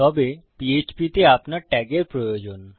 তবে PHP তে আপনার ট্যাগের প্রয়োজন